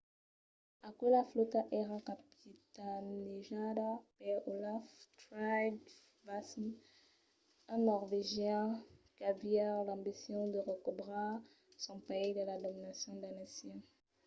aquela flòta èra capitanejada per olaf trygvasson un norvegian qu’aviá l’ambicion de recobrar son país de la dominacion danesa